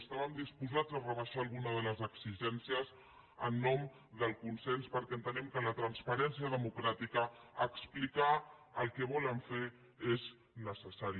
estàvem disposats a rebaixar alguna de les exigències en nom del consens perquè entenem que la transparència democràtica explicar el que volen fer és necessari